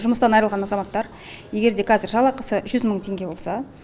жұмыстан айырылған азаматтар егер де қазір жалақысы жүз мың теңге болса